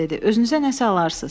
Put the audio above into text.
Özünüzə nəsə alarsız.